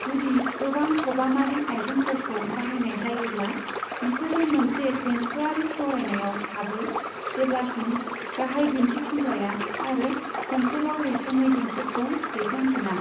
जुदि गोबां खबामारि आइजेंफोरखौ बाहायनाय जायोब्ला, बिसोरो मोनसे देंखोआरि सावरायनाययाव हाबो जेब्लासिम गाहाय दिनथिफुंग्राया आरो खनसेबाव रैसुमै देंखोखौ दैखांफिना।